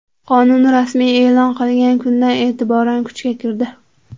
Qonun rasmiy e’lon qilingan kundan e’tiboran kuchga kirdi.